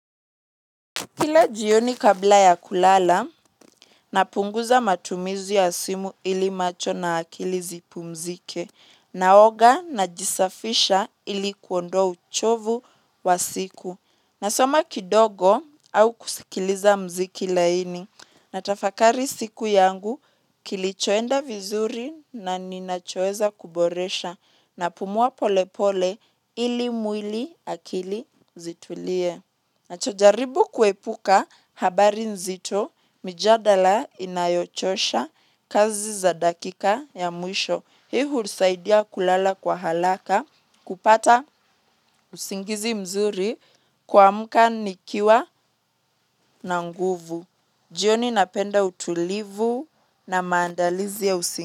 Kila jioni kabla ya kulala, napunguza matumizi ya simu ili macho na akili zipumzike, naoga na jisafisha ili kuondoa uchovu wa siku. Nasoma kidogo au kusikiliza muziki laini, natafakari siku yangu kilichoenda vizuri na ninachoweza kuboresha na pumua pole pole ili mwili akili zitulie. Nachojaribu kuepuka habari nzito mjadala inayochosha kazi za dakika ya mwisho. Hii hutusaidia kulala kwa haraka kupata usingizi mzuri kuamka nikiwa na nguvu. Jioni napenda utulivu na maandalizi ya usingizi.